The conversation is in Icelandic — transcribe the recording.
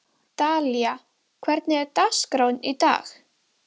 Dalía, hvernig er dagskráin í dag?